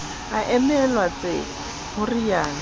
a emelwa tseko ho realo